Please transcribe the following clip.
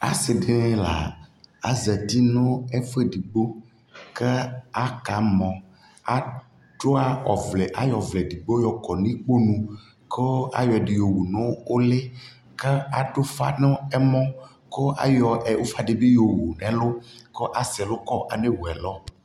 Asi dι la azati nu ɛfuɛ ɛdιgbo ka aka mɔAtsua ɔvlɛAyɔ ɔvlɛ ɛdιgbo kɔ nu ιkponuKʋ ayɔ ɛdi yɔ wu nu uliKa adu fa nu ɛmɔKʋ ayɔ ufa dι bi yɔwu nɛ lu ku asɛ lu kɔAnɛ wu ɛlu